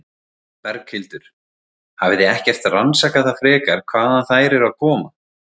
Berghildur: Hafið þið ekkert rannsakað það frekar hvaðan þær eru aðkoma?